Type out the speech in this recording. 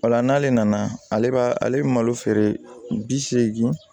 Ola n'ale nana ale b'a ale bɛ malo feere bi seegin